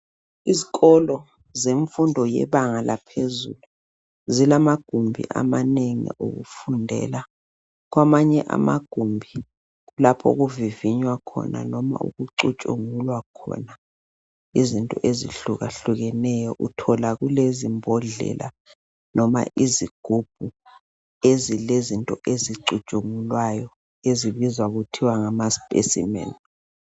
Izikolo zemfundo yebanga laphezulu zilamagumbi amanengi okufundela, Kwamanye amagumbi kulapho okuvivinywa khona noma okucutshungulwa khona izinto ezihlukahlukeneyo uthola kulezimbodlela loba izigubhu ezilezinto ezicutshungulwayo ezibizwa ngokuthi ngama specimen.